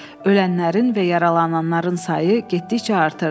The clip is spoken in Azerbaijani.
Ölənlərin və yaralananların sayı getdikcə artırdı.